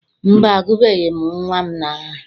Mba, agụbeghị m nnwa m aha.